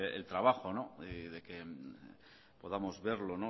el trabajo y de que podamos verlo